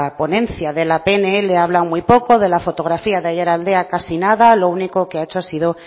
ponencia de la pnl habla muy poco de la fotografía de aiaraldea casi nada lo único que ha hecho ha sido